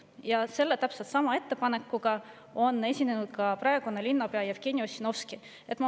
Ja täpselt sellesama ettepanekuga on esinenud ka praegune linnapea Jevgeni Ossinovski.